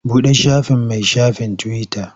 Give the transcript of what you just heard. Buɗe shafin min shafin tiwita.